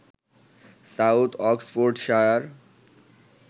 south Oxfordshire